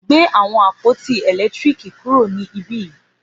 Gbé àwọn àpótí èlétírìkì kúrò ní ibí yìí